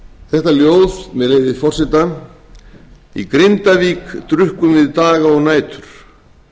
þetta ljóð með leyfi forseta í grindavík drukkum við daga og nætur